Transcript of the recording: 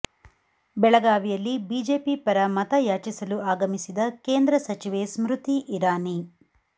ಬೆಳಗಾವಿಯಲ್ಲಿ ಬಿಜೆಪಿ ಪರ ಮತ ಯಾಚಿಸಲು ಆಗಮಿಸಿದ ಕೇಂದ್ರ ಸಚಿವೆ ಸ್ಮೃತಿ ಇರಾನಿ